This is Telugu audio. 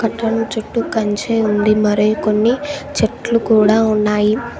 రౌండ్ చుట్టూ కంచే ఉంది మరి కొన్ని చెట్లు కూడా ఉన్నాయి.